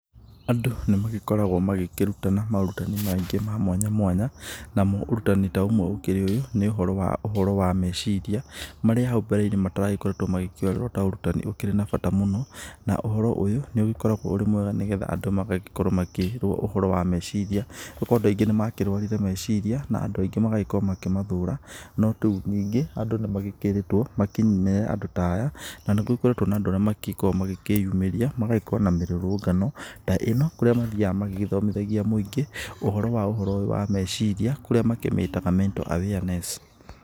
Andũ nĩmagĩkoragwo magĩkĩrutana maũrutani maingĩ ma mwanya mwanya namo ũrutani ta ũmwe ũkĩri ta ũyũ, nĩ ũhoro wa ũhoro wa meciria marĩa hau mbere-inĩ mataragĩkoretwo magĩkĩoererwo ta ũrutani ũrĩ na bata mũno, na uhoro ũyũ nĩ ũgĩkoragwo ũrĩ mwega nĩ getha andũ magagĩkorwo makĩrwo ũhoro wa meciria andũ aingĩ nĩmakĩrwarire meciria na andũ aingĩ magagikorwo makĩmathũra, nyingĩ andũ nimagĩkirĩtwo makĩnyime andũ ta aya, na nigũkoretwo na andũ arĩa makĩkoo magĩkĩyumĩria magagĩkorwo na mĩrũrũngano ta ĩno kũrĩa mathiaga magĩgĩthomithagia mũingĩ ũhoro wa ũhoro ũyũ wa meciria kũria makĩmĩtaga mental awareness.